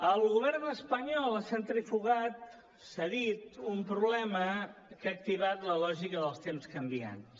el govern espanyol ha centrifugat cedit a un problema que ha activat la lògica dels temps canviants